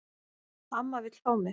Amma vill fá mig.